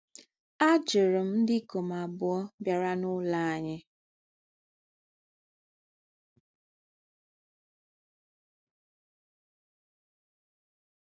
Ajụrụ m ndị ikom abụọ bịara n'ụlọ anyị.